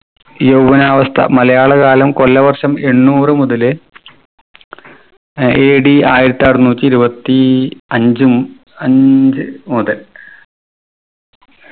യവ്വനാവസ്ഥ മലയാള കാലം കൊല്ല വർഷം എണ്ണൂറ് മുതല് AD ആയിരത്തി അറുന്നൂറ്റി ഇരുപത്തി അഞ്ച് ഉം അഞ്ച് മുതല